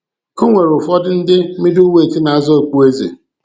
E nwere ụfọdụ ndị ' middleweight ' na-azọ okpueze.